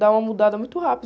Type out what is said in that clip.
dá uma mudada muito rápida.